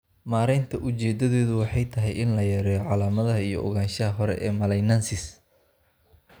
Maareynta ujeedadeedu waxay tahay in la yareeyo calaamadaha iyo ogaanshaha hore ee malignancies.